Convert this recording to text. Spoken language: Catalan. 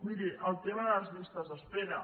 miri el tema de les llistes d’espera